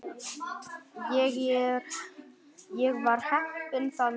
Ég var heppinn þann dag.